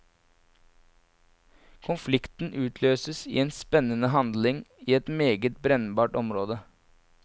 Konflikten utløses i en spennende handling i et meget brennbart område.